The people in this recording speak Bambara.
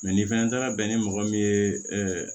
ni fɛnɛ taara bɛn ni mɔgɔ min ye